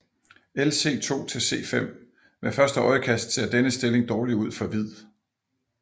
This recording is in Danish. Lc2 c5 Ved første øjekast ser denne stilling dårlig ud for hvid